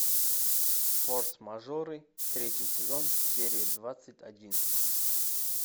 форс мажоры третий сезон серия двадцать один